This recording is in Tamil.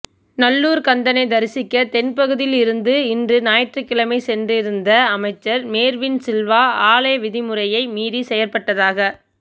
நல்லூர் கந்தனை தரிசிக்க தென்பகுதியில் இருந்து இன்று ஞாயிற்றுக்கிழமை சென்றிருந்த அமைச்சர் மேர்வின் சில்வா ஆலய விதிமுறையை மீறி செயற்பட்டதாக